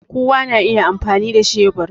Kowa na iya amfani da shebur